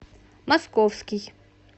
московский